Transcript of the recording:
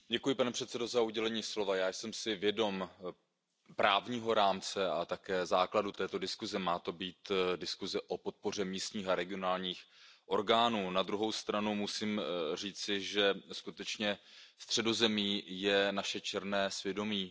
Pane předsedající, já jsem si vědom právního rámce a také základu této diskuze. Má to být diskuze o podpoře místních a regionálních orgánů, na druhou stranu musím říci, že skutečně Středozemí je naše černé svědomí.